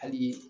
Hali